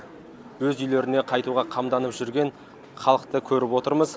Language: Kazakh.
өз үйлеріне қайтуға қамданып жүрген халықты көріп отырмыз